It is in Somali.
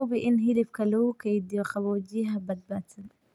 Hubi in hilibka lagu keydiyo qaboojiyaha badbaadsan.